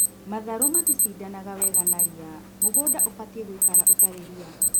Matharũ matishindanaga wega na ria, mũgũnda ũbatie gũikara ũtari ria